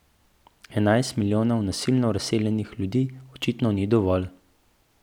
Enajst milijonov nasilno razseljenih ljudi očitno ni dovolj.